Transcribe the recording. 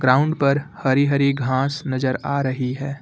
Ground पर हरी हरी घास नजर आ रही है।